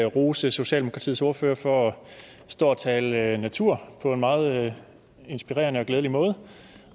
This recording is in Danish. rose socialdemokratiets ordfører for at stå og tale natur på en meget inspirerende og glædelig måde